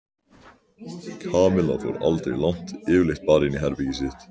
Kamilla fór aldrei langt yfirleitt bara inn í herbergið sitt.